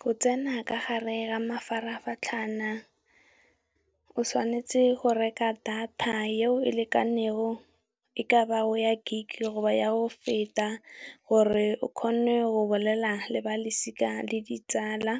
Go tsena ka gare ga mafaratlhatlha, o tshwanetse go reka data eo e lekanego, e ka ba go ya Gig goba ya go feta gore o kgone go bolela le balosika le ditsala.